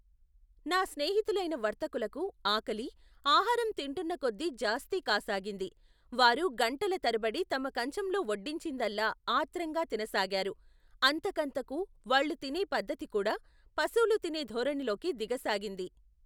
నా స్నేహితులైన వర్తకులకు ఆకలి, ఆహారం తింటున్నకొద్దీ జాస్తీ కాసాగింది. వారు గంటల తరబడి తమ కంచంలో వడ్డించిదల్లా ఆత్రంగా తినసాగారు. అంత కంతకూ వాళ్లు తినే పద్దతికూడా పశువులు తినే ధోరణిలోకి దిగ సాగింది.